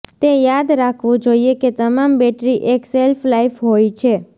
તે યાદ રાખવું જોઇએ કે તમામ બેટરી એક શેલ્ફલાઇફ હોય છે